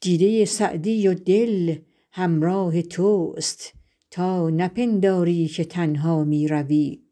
دیده سعدی و دل همراه توست تا نپنداری که تنها می روی